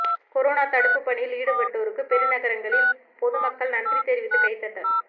corona தடுப்பு பணியில் ஈடுபட்டோருக்கு பெருநகரங்களில் பொதுமக்கள் நன்றி தெரிவித்து கைதட்டல்